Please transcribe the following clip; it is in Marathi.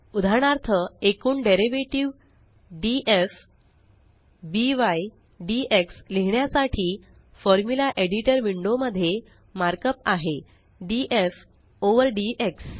उदाहरणार्थ एकूण डेरीवेटीव डीएफ बाय डीएक्स लिहिण्यासाठी फॉर्म्युला एडिटर विंडो मध्ये मार्कअप आहे डीएफ ओव्हर डीएक्स